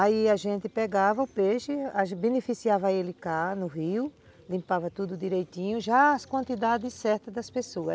Aí a gente pegava o peixe, beneficiava ele cá no rio, limpava tudo direitinho, já as quantidades certas das pessoas.